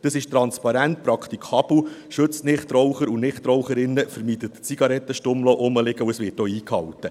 Dies ist transparent, praktikabel, schützt die Nichtraucher und Nichtraucherinnen, verhindert, dass Zigarettenstummel herumliegen, und es wird auch eingehalten.